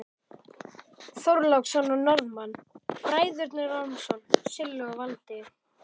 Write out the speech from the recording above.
Þorláksson og Norðmann, Bræðurnir Ormsson, Silli og Valdi.